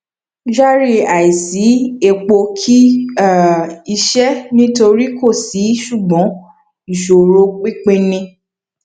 kyari àisí epo kì um í ṣe nítorí kò sí ṣùgbọn ìṣòro pínpín ni